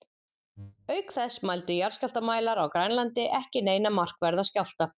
Auk þess mældu jarðskjálftamælar á Grænlandi ekki neina markverða skjálfta.